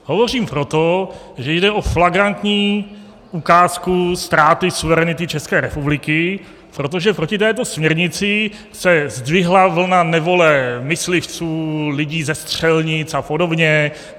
Hovořím proto, že jde o flagrantní ukázku ztráty suverenity České republiky, protože proti této směrnici se zdvihla vlna nevole myslivců, lidí ze střelnic a podobně.